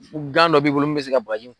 dɔ b'i bolo min bɛ se ka bagaji